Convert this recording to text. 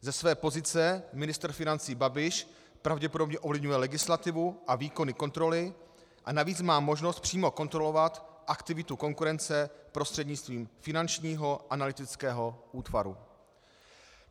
Ze své pozice ministr financí Babiš pravděpodobně ovlivňuje legislativu a výkony kontroly, a navíc má možnost přímo kontrolovat aktivitu konkurence prostřednictvím Finančního analytického útvaru.